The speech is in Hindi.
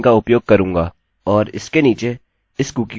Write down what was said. और इसके नीचे इस कुकी को एको करते हैं